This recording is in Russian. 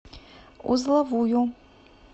узловую